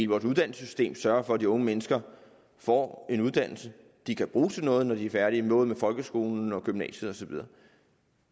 vores uddannelsessystem sørger for at de unge mennesker får en uddannelse de kan bruge til noget når de er færdige med folkeskolen og gymnasiet og så videre